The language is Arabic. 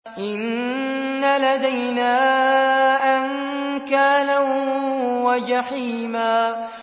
إِنَّ لَدَيْنَا أَنكَالًا وَجَحِيمًا